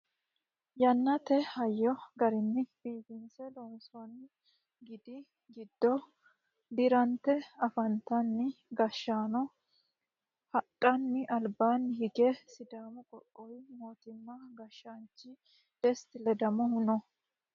Yannate hayyo garinni biifinse loonsoonni gidi giddo dirante afantino gashshaano hadhanna albaanni hige sidaamu qoqqowi mootimma gashshaanchi desta ledamohu no